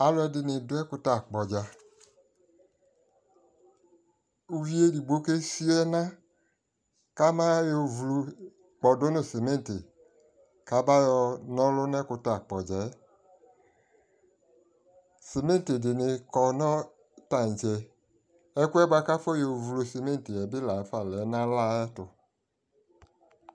alʋɛdini dʋ ɛkʋtɛ akpɔ dza, ʋvi ɛdigbɔ ka fia ɛna kʋ abayɔ flɔ dʋnʋ cɛmɛnti kʋ abayɔ nɔlʋ nʋ ɛkʋtɛ akpɔ dzaɛ, cɛmɛnti dini kɔnʋ tankyɛ ɛkʋɛ bakʋ akɔnɔ flɔ cɛmɛnti bi lantɛ lɛ nʋ ayɛtʋ